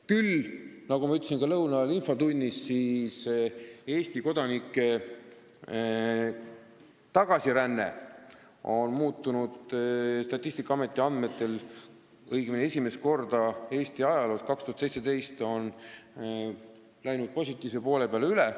Küll aga, nagu ma ütlesin ka lõuna ajal infotunnis, Eesti kodanike tagasiränne läks Statistikaameti andmetel 2017. aastal esimest korda Eesti ajaloos positiivse poole peale üle.